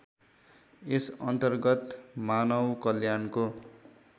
यस अन्तर्गत मानवकल्याणको